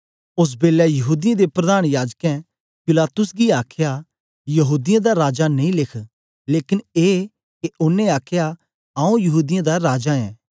ओस बेलै यहूदीयें दे प्रधान याजकें पिलातुस गी आखया यहूदीयें दा राजा नेई लेख लेकन ए के ओनें आखया आऊँ यहूदीयें दा राजा ऐं